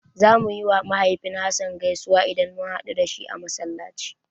Zamu yiwa mahaifin Hassan gaisuwa idan mun haɗu da shi a Masallaci.